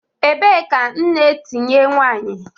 Ebee ka nne etinye nwanyi?